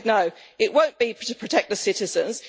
I said no, it won't be to protect the citizens.